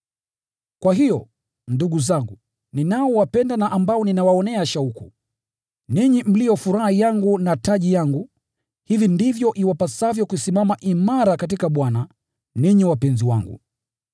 Kwa hiyo, ndugu zangu, ninaowapenda na ambao ninawaonea shauku, ninyi mlio furaha yangu na taji yangu, hivi ndivyo iwapasavyo kusimama imara katika Bwana, ninyi wapenzi wangu.